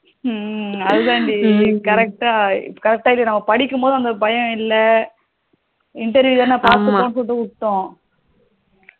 ஹம் அது தான் டி correct correct நம்ம படிக்கும் போது அந்த பயம் இல்லை interview தானா பாத்துபோம் சொல்லிட்டு விட்டோம்